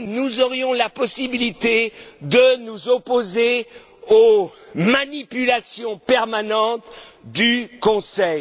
nous aurons la possibilité de nous opposer aux manipulations permanentes du Conseil.